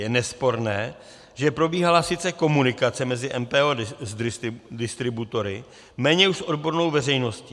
Je nesporné, že probíhala sice komunikace mezi MPO a distributory, méně už s odbornou veřejností.